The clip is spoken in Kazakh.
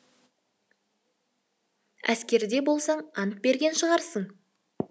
әскерде болсаң ант берген шығарсың